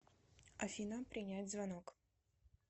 афина принять звонок